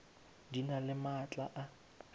di na le maatla a